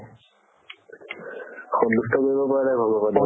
সন্তুষ্ট কৰিব পৰা নাই ভগৱানে